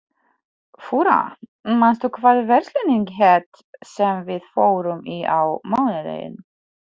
Fura, manstu hvað verslunin hét sem við fórum í á mánudaginn?